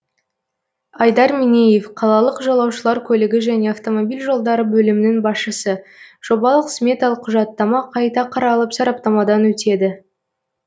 айдар меңеев қалалық жолаушылар көлігі және автомобиль жолдары бөлімінің басшысы жобалық сметалық құжаттама қайта қаралып сараптамадан өтеді